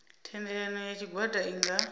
thendelano ya tshigwada i nga